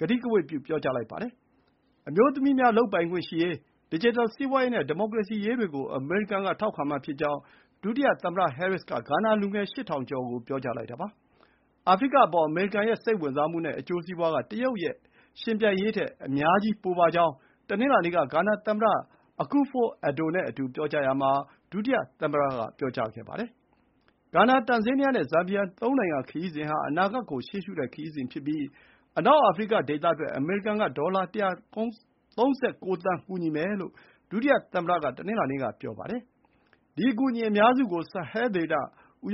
ကတိကဝတ် ပြုလိုက်ပါတယ်။ အမျိုးသမီးများလုပ်ပိုင်ခွင့်ရှိရေး၊ ဒစ်ဂျစ်တယ်စီးပွါးရေးနဲ့ ဒီမိုကရေစီရေးတွေကို အမေရိကန်က ထောက်ခံမှာဖြစ်ကြောင်း ဒုတိယသမ္မတဟဲရစ်က ဂါနာလူငယ် ၈,၀၀၀ ကျော်ကို ပြောကြားလိုက်တာပါ။ အာဖရိကအပေါ် အမေရိကန်ရဲ့စိတ်ဝင်စားမှုနဲ့အကျိုးစီးပွါးက တရုတ်နဲ့ယှဉ်ပြိုင်ရေးထက် အများကြီးပိုပါကြောင်း တနင်္လာနေ့က ဂါနာသမ္မတ Akufo-Addo နဲ့အတူ ပြောကြားရာမှာ ဒုတိယသမ္မတက ပြောပါတယ်။ ဂါနာ၊ တန်ဇေးနီးယားနဲ့ ဇမ်ဘီယာ ၃ နိုင်ငံခရီးစဉ်ဟာ အနာဂတ်ကို ရှေ့ရှုတဲ့ခရီးစဉ်ဖြစ်ပြီး အနောက်အာဖရိကဒေသအတွက် အမေရိကန်က ဒေါ်လာ ၁၃၉ သန်း ကူညီမယ်လို့ ဒုတိယသမ္မတက တနင်္လာနေ့က ဆိုပါတယ်။ ဒီအကူအညီအများစုကို ဆာဟဲဒေသ ပ